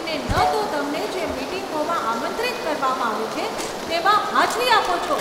અને ન તો તમને જે મીટિંગોમાં આમંત્રિત કરવામાં આવે છે તેમાં હાજરી આપો છો.